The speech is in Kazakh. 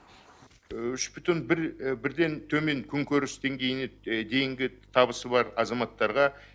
үш бүтін бірден төмен күнкөріс деңгейіне дейінгі табысы бар азаматтарға